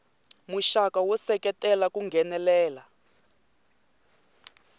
muxaka wo seketela ku nghenelela